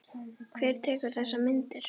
Hver tekur þessar myndir?